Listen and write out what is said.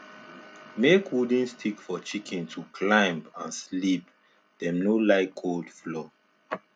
make wooden stick for chicken to climb and sleep dem no like cold floor